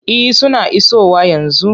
E, suna isowa yanzu.